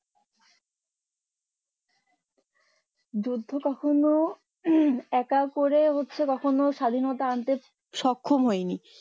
যুদ্ধ কখনো একা করে কখনো স্বাধীনতা আনতে সক্ষম হয়নি